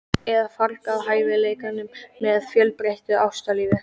Eða fargað hæfileikanum með of fjölbreyttu ástalífi?